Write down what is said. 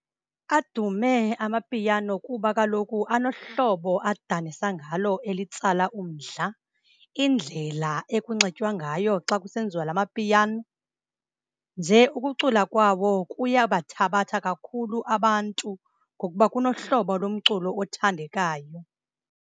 Adume amapiano kuba kaloku anohlobo adanisa ngalo elitsala umdla, indlela ekunxitywa ngayo xa kusenziwa la mapiyano. Nje ukucula kwawo kuyabathabatha kakhulu abantu ngokuba kunohlobo lomculo othandekayo.